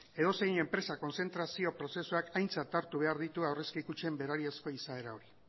edozein enpresa kontzentrazio prozesuak aintzat hartu behar ditu aurrezki kutxen izaera hori